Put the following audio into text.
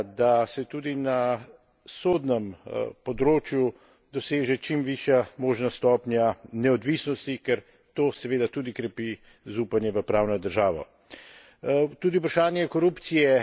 Ker je čutiti prizadevanja, da se tudi na sodnem področju doseže čim višja možna stopnja neodvisnosti, ker to seveda to tudi krepi zaupanje v pravno državo.